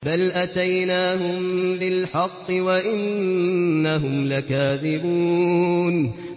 بَلْ أَتَيْنَاهُم بِالْحَقِّ وَإِنَّهُمْ لَكَاذِبُونَ